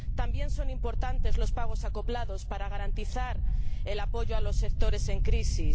También son importantes los pagos acoplados para garantizar el apoyo a los sectores en crisis.